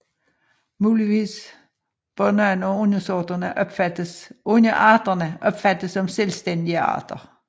Muligvis bør nogle af underarterne opfattes som selvstændige arter